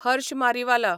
Harsh Mariwala